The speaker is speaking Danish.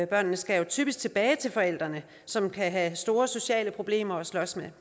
børnene skal jo typisk tilbage til forældrene som kan have store sociale problemer at slås med